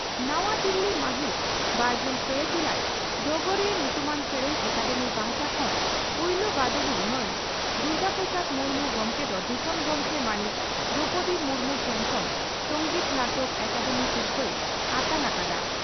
ᱱᱟᱣᱟ ᱫᱤᱞᱤ ᱢᱟᱹᱦᱤᱛ ᱵᱟᱨᱜᱮᱞ ᱯᱮ ᱡᱩᱞᱟᱭ ᱰᱚᱜᱚᱨᱤᱭᱟᱹ ᱧᱩᱛᱩᱢᱟᱱ ᱥᱮᱨᱮᱧ ᱮᱠᱟᱰᱮᱢᱤ ᱯᱟᱦᱴᱟ ᱠᱷᱚᱱᱯᱩᱭᱞᱩ ᱵᱟᱰᱚᱦᱤ ᱢᱟᱱ ᱫᱩᱨᱜᱟ ᱯᱨᱚᱥᱟᱫᱽ ᱢᱩᱨᱢᱩ ᱜᱚᱢᱠᱮ ᱫᱚ ᱫᱤᱥᱚᱢ ᱜᱚᱢᱠᱮ ᱢᱟᱹᱱᱤᱡ ᱫᱨᱚᱣᱯᱚᱫᱤ ᱢᱩᱨᱢᱩ ᱴᱷᱮᱱ ᱠᱷᱚᱱ ᱥᱚᱝᱜᱤᱛ ᱱᱟᱴᱚᱠ ᱮᱠᱟᱰᱮᱢᱤ ᱥᱤᱨᱯᱷᱟᱹᱭ ᱟᱛᱟᱝ ᱟᱠᱟᱫᱼᱟ ᱾